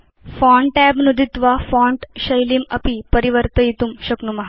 font tab नुदित्वा font शैलीम् अपि परिवर्तयितुं शक्नुम